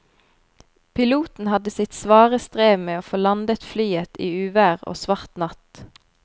Piloten hadde sitt svare strev med å få landet flyet i uvær og svart natt.